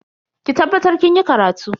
Ki tabbatar kinyi karatu.